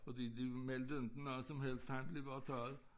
Fordi de meldte inte noget som helst han blev bare taget